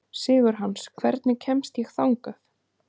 Sigurhans, hvernig kemst ég þangað?